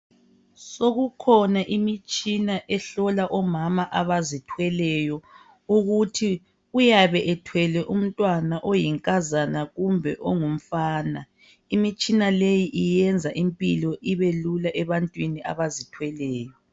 Sekukhona imitshina ehlola omama abazithweleyo ukuthi uyabe ethwele umntwana ongunkazana kumbe ongumfana. Imitshina leyi iyenza impilo ibelula ebantwini abazithweleyo.